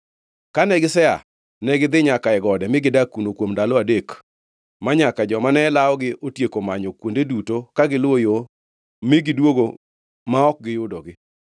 Kane gisea, negidhi nyaka e gode mi gidak kuno kuom ndalo adek, manyaka joma ne lawogi otieko manyo kuonde duto ka giluwo yo mi gidwogo ma ok giyudogi.